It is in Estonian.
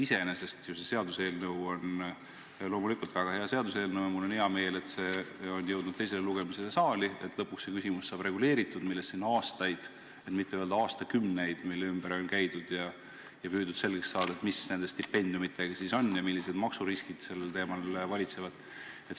Iseenesest on see seaduseelnõu väga hea ja mul on hea meel, et see on jõudnud teisele lugemisele siia saali ning lõpuks saab reguleeritud see küsimus, mille ümber siin aastaid, et mitte öelda aastakümneid on käidud ja püütud selgeks saada, mis nende stipendiumidega siis on ja millised maksuriskid sellel teemal valitsevad.